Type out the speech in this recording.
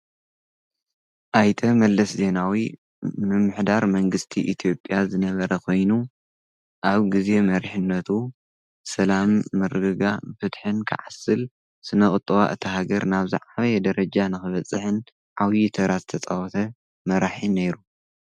ኣይተ መለስ ዜናዊ ምምሕዳር መንግስቲ ኢትዮጵያ ዝነበረ ኾይኑ ኣብ ጊዜ መሪሕነቱ ሰላም ምርግጋእ ፍትሕን ክዓስል ስነቝጠባ እታ ሃገር ናብ ዝዓበየ ደረጃ ንኽበጽሕን ዓብዪ ተራ ዝተጸወተ መራሒ ነይሩ፡፡